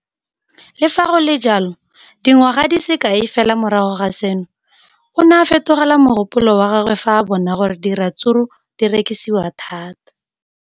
Le fa go le jalo, dingwaga di se kae fela morago ga seno, o ne a fetola mogopolo wa gagwe fa a bona gore diratsuru di rekisiwa thata.